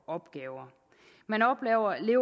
opgaver man oplever at